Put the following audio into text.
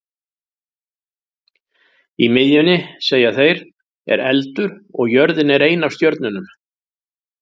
Í miðjunni, segja þeir, er eldur og jörðin er ein af stjörnunum.